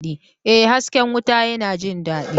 Ee, hasken wuta yana jin daɗi!